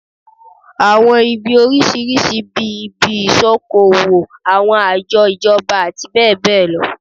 Àwọn ibi oríṣiríṣi bí i, ibi ìṣokoowò, àwọn àjọ ìjọba àti bẹ́ẹ̀ bẹ́ẹ̀ lọ